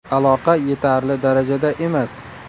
Aloqa yetarli darajada emas.